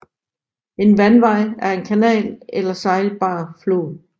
En vandvej er en kanal eller sejlbar flod